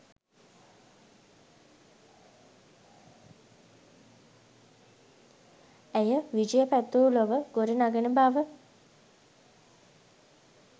ඇය විජය පැතූ ලොව ගොඩ නඟන බව